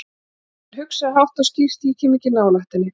Samt hafði hann hugsað, hátt og skýrt: Ég kem ekki nálægt henni.